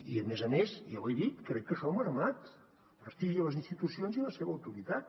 i a més a més ja ho he dit crec que això ha mermat el prestigi a les institucions i la seva autoritat